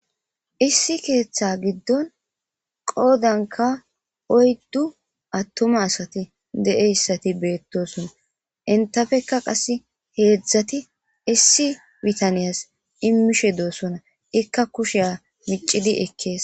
Issi ketha gidon qodankka oydu atuma asati de'iyasati betosona entapekka qase hedzati issi bitanyias imishe dosona eikka kushiya micidi ekkese